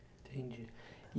Entendi.